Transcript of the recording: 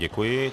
Děkuji.